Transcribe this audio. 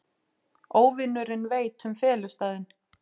Óvinurinn veit um felustaðinn.